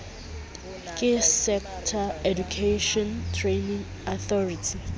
ke sector education training authority